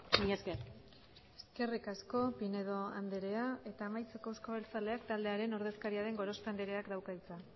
mila esker eskerrik asko pinedo andrea eta amaitzeko euzko abertzaleak taldearen ordezkaria den gorospe andreak dauka hitza